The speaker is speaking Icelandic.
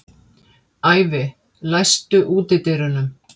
Ævi, læstu útidyrunum.